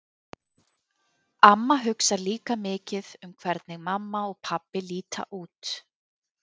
Amma hugsar líka mikið um hvernig mamma og pabbi líta út.